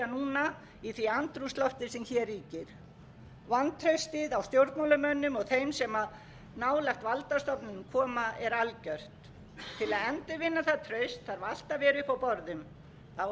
sérstaklega núna í því andrúmslofti sem hér ríkir vantraustið á stjórnmálamönnum og þeim sem nálægt valdastofnunum koma er algjört til að endurvinna það traust þarf allt að vera uppi á borðum það á ekki að fara